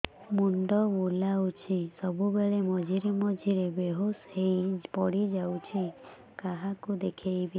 ମୁଣ୍ଡ ବୁଲାଉଛି ସବୁବେଳେ ମଝିରେ ମଝିରେ ବେହୋସ ହେଇ ପଡିଯାଉଛି କାହାକୁ ଦେଖେଇବି